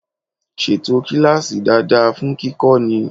Ṣètò kíláàsì dáadáa fún kíkọ́ni!